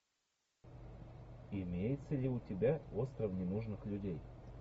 имеется ли у тебя остров ненужных людей